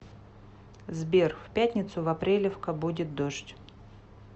сбер в пятницу в апрелевка будет дождь